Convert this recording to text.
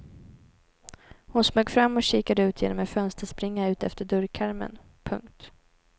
Hon smög fram och kikade ut genom en fönsterspringa utefter dörrkarmen. punkt